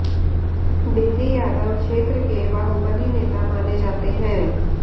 बिंदी यादव क्षेत्र के बाहुबली नेता माने जाते हैं